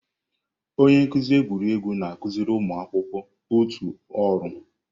Onye nkuzi egwuregwu na-akụziri ụmụ akwụkwọ otu ọrụ.